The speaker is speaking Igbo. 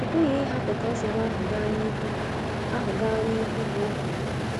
Ị pụghị ịhapụ ka nsogbu ahụ gaa n’ihu ahụ gaa n’ihu, ka o kwuru.